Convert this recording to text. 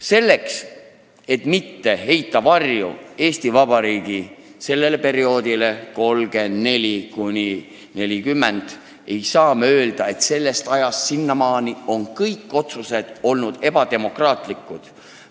Selleks, et mitte heita varju Eesti Vabariigi sellele perioodile, aastatele 1934–1940, ei saa me öelda, et kõik selle aja otsused olid ebademokraatlikud.